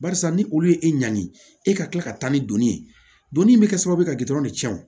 Barisa ni olu ye e ɲanni e ka kila ka taa ni donni ye don min bɛ kɛ sababu ye ka de tiɲɛ wo